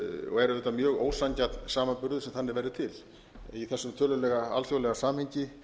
og er auðvitað mjög ósanngjarn samanburður sem þannig verður til í þessu tölulega alþjóðlega samhengi